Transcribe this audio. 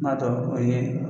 N'a tɔ o ye